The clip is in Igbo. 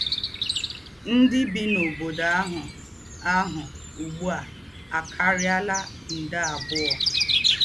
Ndí́ bí n’óbódò àhù àhù úgbú à àkáríálá ndé àbùọ̀